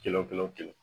Kelen kelen o kelen